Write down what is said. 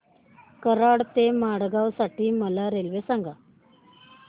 कराड ते मडगाव साठी मला रेल्वे सांगा